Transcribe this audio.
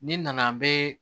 Ni nana n bɛ